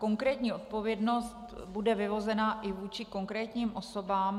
Konkrétní odpovědnost bude vyvozena i vůči konkrétním osobám.